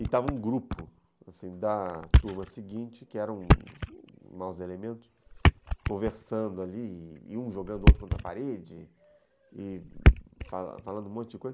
E estava um grupo, assim, da turma seguinte, que eram os maus elementos, conversando ali, e um jogando o outro contra a parede, e falando um monte de coisa.